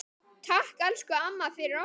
Takk, elsku amma, fyrir okkur.